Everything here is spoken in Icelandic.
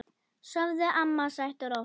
Sofðu, amma, sætt og rótt.